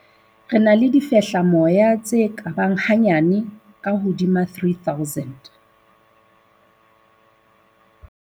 "Re na le difehlamoya tse ka bang hanyane ka hodima 3 000."